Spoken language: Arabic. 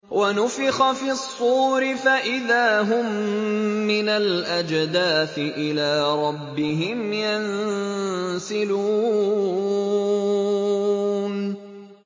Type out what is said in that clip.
وَنُفِخَ فِي الصُّورِ فَإِذَا هُم مِّنَ الْأَجْدَاثِ إِلَىٰ رَبِّهِمْ يَنسِلُونَ